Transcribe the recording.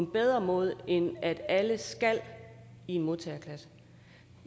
en bedre måde end at alle skal i en modtageklasse